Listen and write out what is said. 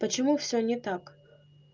почему всё не так